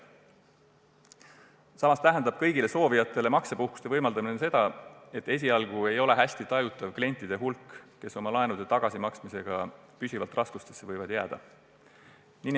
Samas tähendab kõigile soovijatele maksepuhkuse võimaldamine seda, et esialgu ei ole nende klientide hulk, kes laenu tagasimaksmisega võivad püsivalt raskustesse jääda, eriti hästi tajutav.